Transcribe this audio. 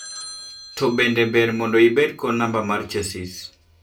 To bende ber mondo bed kod namba mar chesis.